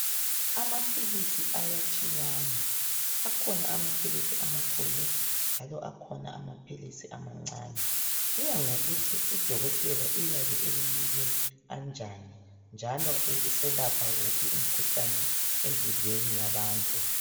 Amaphilisi ayatshiyana akhona amaphilisi amakhulu njalo akhona amaphilisi amancane. Kuya ngokuthi udokotela uyabe ekunike anjani njalo eselapha wuphi umkhuhlane emzimbeni yabantu.